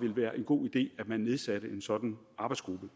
ville være en god idé at man nedsatte en sådan arbejdsgruppe